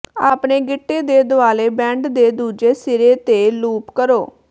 ਆਪਣੇ ਗਿੱਟੇ ਦੇ ਦੁਆਲੇ ਬੈਂਡ ਦੇ ਦੂਜੇ ਸਿਰੇ ਤੇ ਲੂਪ ਕਰੋ